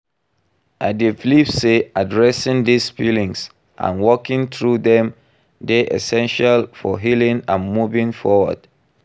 I dey believe say addressing these feelings and working through dem dey essential for healing and moving forward.